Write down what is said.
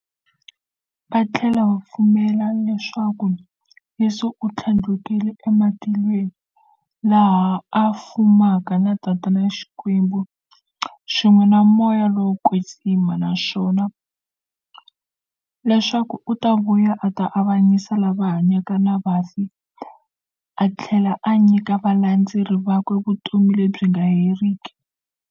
Vathlela va pfumela leswaku Yesu u thlandlukele e matilweni, laha a fumaka na Xikwembu-Tatana, swin'we na Moya lowo kwetsima, naswona leswaku u ta vuya a ta avanyisa lava hanyaka na vafi athlela a nyika valandzeri vakwe vutomi lebyi nga heriki.